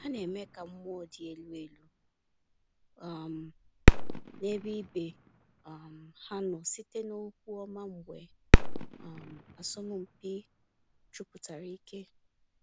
Ha na-eme ka mmụọ dị elu elu um n’ebe ibe um ha nọ site n’okwu ọma mgbe um asọmpi jupụtara ike.